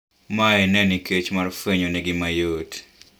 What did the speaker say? Mae ne nikech mar fwenyo negi mayot